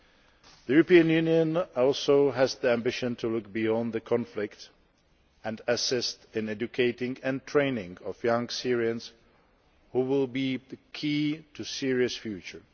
The European Union also has the ambition to look beyond the conflict and assist in educating and training young Syrians, who will be key to Syria's future.